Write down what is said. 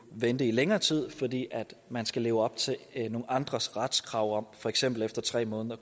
vente i længere tid fordi man skal leve op til nogle andres retskrav om at for eksempel efter tre måneder